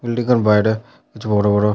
building -এর বাইরে কিছু বড় বড়--